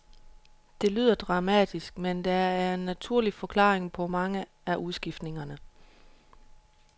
Det lyder dramatisk, men der er en naturlig forklaring på mange af udskiftningerne.